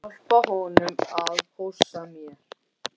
Hjálpa honum að hossa mér.